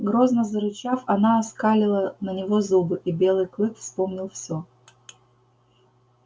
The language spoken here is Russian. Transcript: грозно зарычав она оскалила на него зубы и белый клык вспомнил всё